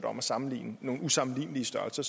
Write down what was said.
om at sammenligne nogle usammenlignelige størrelser